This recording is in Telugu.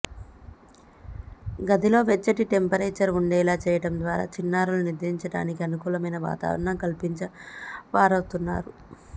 గదిలో వెచ్చటి టెంపరేచర్ ఉండేలా చేయడం ద్వారా చిన్నారులు నిద్రించడానికి అనుకూలమైన వాతావరణం కల్పించినవారవుతారు